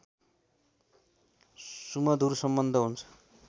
सुमधुर सम्बन्ध हुन्छ